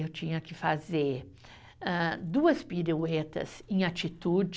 Eu tinha que fazer hã, duas piruetas em atitude,